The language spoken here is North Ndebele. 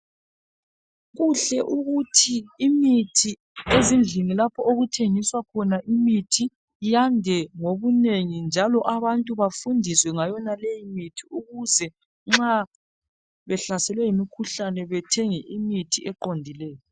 Kuhle ukuthi imithi ezindlini lapho okuthengiswa khona imithi yande ngobunengi njalo abantu bafundiswe ngayonaleyi imithi ukuze nxa behlaselwe yimkhuhlane bathenge imithi eqondileyo.